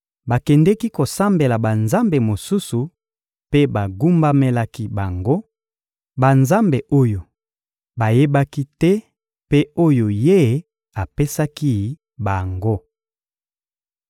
Bakendeki kosambela banzambe mosusu mpe bagumbamelaki bango, banzambe oyo bayebaki te mpe oyo Ye apekisaki bango.